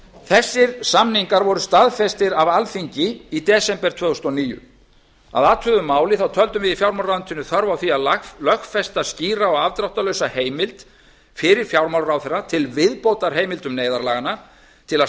þessir samningar voru staðfestir af alþingi í desember tvö þúsund og níu að athuguðu máli töldum við í fjármálaráðuneytinu þörf á því að lögfesta skýra og afdráttarlausa heimild fyrir fjármálaráðherra til viðbótar heimildum neyðarlaganna til að